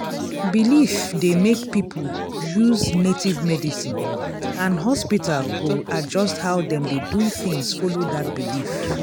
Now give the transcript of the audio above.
belief dey make people use native medicine and hospital go adjust how dem dey do things follow that belief.